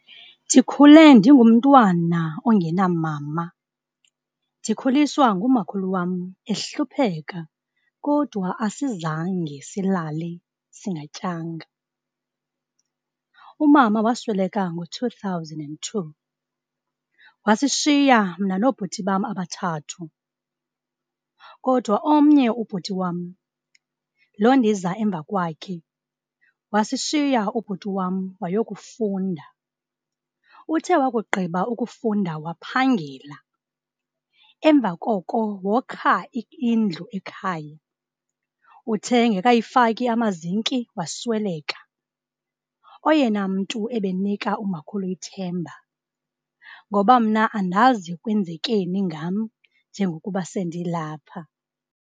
ndikhule ndingumtana ongena mama ndikhuliswa ngumhakhulu WAM ehlupheka kodwa asizange salala singatyanga mama wasweleka NGO 2002 wasishiya mna noobhuti bam abathathu kodwa onmnye ubhuti wam lo ndiza emva kwakhe wasishiya ubhuti WAM wayokufunda. Uthe wakugqiba ukufunda waphangela emva koko wokha indlu ekhaya. Uthe engekayifaki amazinki wasweleka oyena mntu ebenika umakhulu ithemba ngoba mna andazi kwenzekani ngam njengokuba sendilapha